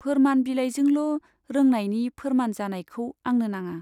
फोरमान बिलाइजोंल' रोंनायनि फोरमान जानायखौ आंनो नाङा।